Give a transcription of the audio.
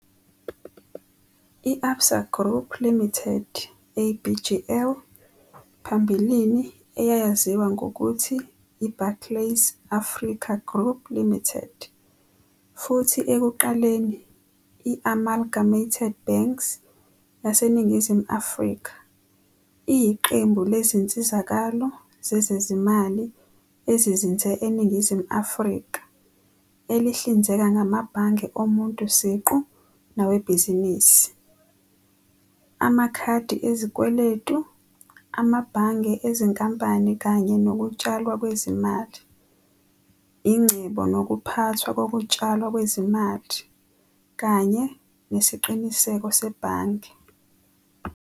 I-Absa Group Limited, ABGL, phambilini eyayaziwa ngokuthi i- Barclays Africa Group Limited, futhi ekuqaleni i-Amalgamated Banks yaseNingizimu Afrika, iyiqembu lezinsizakalo zezezimali ezizinze eNingizimu Afrika, elihlinzeka ngamabhange omuntu siqu nawebhizinisi, amakhadi esikweletu, amabhange ezinkampani kanye nokutshalwa kwezimali, ingcebo nokuphathwa kokutshalwa kwezimali., kanye nesiqiniseko sebhange.